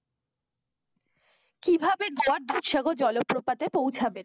কিভাবে গোয়ার দুধসাগর জলপ্রপাতে পৌছাবেন?